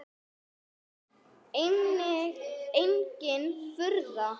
Engin furða.